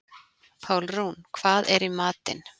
Pálrún, hvað er í matinn?